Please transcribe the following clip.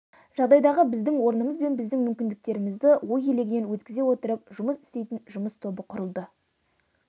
жағдайдағы біздің орнымыз бен біздің мүмкіндіктерімізді ой елегінен өткізе отырып жұмыс істейтін жұмыс тобы құрылды